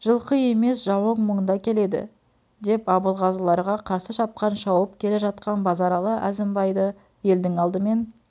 жылқы емес жауың мұнда келеді деп абылғазыларға қарсы шапқан шауып келе жатқан базаралы әзімбайды елдің алдымен